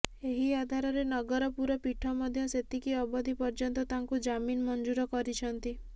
ଏହି ଆଧାରରେ ନଗରପୁର ପୀଠ ମଧ୍ୟ ସେତିକି ଅବଧି ପର୍ଯ୍ୟନ୍ତ ତାଙ୍କୁ ଜାମିନ ମଞ୍ଜୁର କରିଛନ୍ତି